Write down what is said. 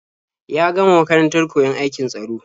Ya gama makarantar koyon aikin tsaro.